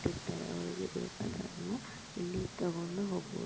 ಇಲ್ಲಿ ಎಲ್ಲ ವಸ್ತುಗಲ್ಲನು ಇಟ್ಟಿರ್ತಾರೆ ಒಳಗಡೆ ಹೋಗಿ ತಗೋಬೋದು